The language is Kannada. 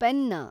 ಪೆನ್ನಾ